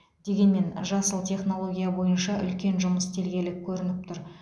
дегенмен жасыл технология бойынша үлкен жұмыс істелгелі көрініп тұр